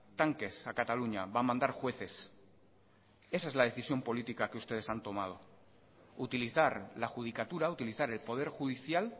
tanques a cataluña va a mandar jueces esa es la decisión política que ustedes han tomado utilizar la judicatura utilizar el poder judicial